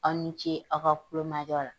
Aw ni ce aw ka kulomajɔ la.